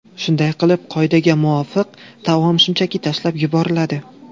Shunday qilib, qoidaga muvofiq, taom shunchaki tashlab yuboriladi.